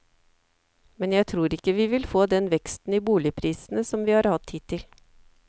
Men jeg tror ikke vi vil få den veksten i boligprisene som vi har hatt hittil.